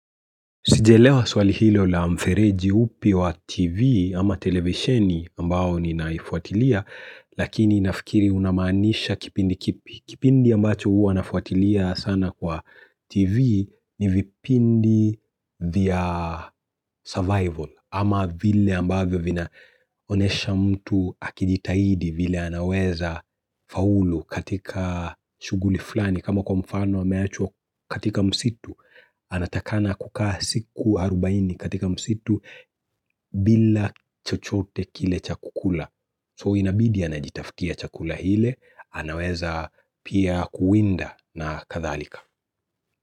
Sijaelewa swali hilo la mfereji upi wa TV ama televisioni ambao ninaifuatilia lakini nafikiri unamaanisha kipindi kipi. Kipindi ambacho huwa nafuatilia sana kwa TV ni vipindi vya survival ama vile ambavyo vinaonesha mtu akijitahidi vile anaweza faulu katika shuguli flani. Kama kwa mfano ameachwa katika msitu, anatakana kukaa siku 40 katika msitu bila chochote kile cha kukula. So inabidi anajitafukia chakula ile, anaweza pia kuwinda na kadhalika.